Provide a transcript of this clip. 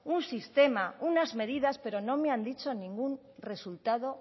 un sistema unas medidas pero no me han dicho ningún resultado